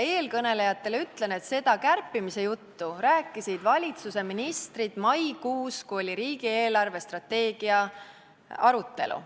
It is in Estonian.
Eelkõnelejatele ütlen, et seda kärpimise juttu rääkisid valitsuse ministrid maikuus, kui oli riigi eelarvestrateegia arutelu.